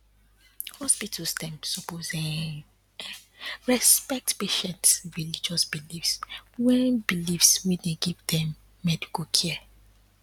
hospitals dem suppose[um][um] respect patients um religious beliefs wen beliefs wen dem dey give medical care